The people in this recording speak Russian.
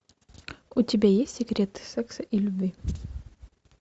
у тебя есть секреты секса и любви